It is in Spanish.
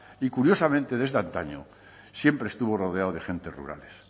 y curiosamente desde antaño siempre estuvo rodeado de gentes rurales